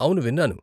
అవును విన్నాను.